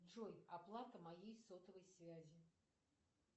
джой оплата моей сотовой связи